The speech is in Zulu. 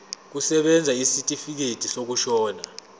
kusebenza isitifikedi sokushona